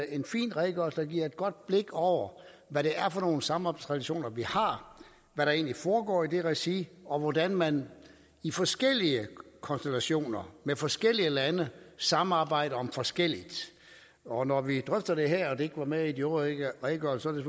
en fin redegørelse der giver et godt blik over hvad det er for nogle samarbejdstraditioner vi har hvad der egentlig foregår i det regi og hvordan man i forskellige konstellationer med forskellige lande samarbejder om forskelligt og når vi drøfter det her og det ikke var med i de øvrige redegørelser er